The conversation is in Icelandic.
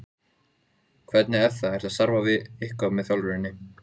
Margir þættirnir segja frá skiptum Íslendinga við konunga í Noregi.